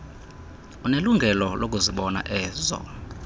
unelungelo lokuzibona ezo